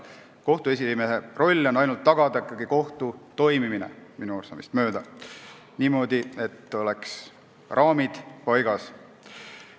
Kohtu esimehe roll on minu arusaamist mööda ikkagi tagada kohtu toimimine niimoodi, et oleks raamid paigas.